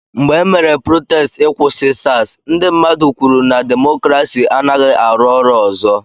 Mgbe emere protestị ị kwụsị SARS, ndị mmadụ kwụ na demokrasi anaghị arụ ọrụ ọzọ.